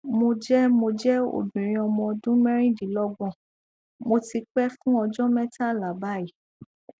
mo jẹ mo jẹ obìnrin ọmọ ọdún merindinlogbon mo ti pẹ fún ọjọ metala báyìí